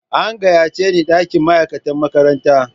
An gayyace ni dakin ma'aikata makaranta.